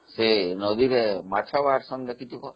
ସେ ନଦୀରେ ମାଛ ଅଛନ୍ତି ଦେଖିଥିବ ?